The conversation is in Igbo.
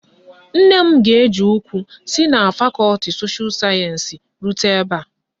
Nne m ga-eji ụkwụ si na fakọti sosha sayensi rute ebe a.